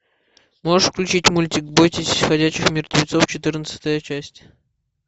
можешь включить мультик бойтесь ходячих мертвецов четырнадцатая часть